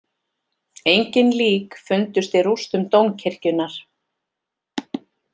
Engin lík fundust í rústum dómkirkjunnar